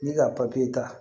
Ne ka papiye ta